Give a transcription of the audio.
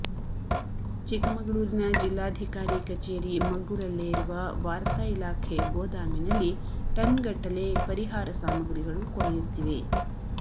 ಚಿಕ್ಕಮಗಳೂರಿನ ಜಿಲ್ಲಾಧಿಕಾರಿ ಕಚೇರಿ ಮಗ್ಗಲಲ್ಲೇ ಇರುವ ವಾರ್ತಾ ಇಲಾಖೆ ಗೋದಾಮಿನಲ್ಲಿ ಟನ್ ಗಟ್ಟಲೆ ಪರಿಹಾರ ಸಾಮಗ್ರಿಗಳು ಕೊಳೆಯುತ್ತಿವೆ